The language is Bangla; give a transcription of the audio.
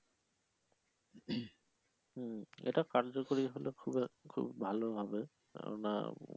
এট কার্যকরী হলে খুব একটা খুব ভালো হবে কেননা,